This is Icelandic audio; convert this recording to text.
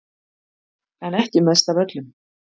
En ekki mest af öllum